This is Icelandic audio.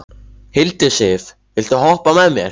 Hildisif, viltu hoppa með mér?